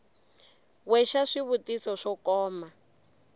we xa swivutiso swo koma